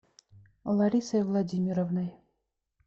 ларисой владимировной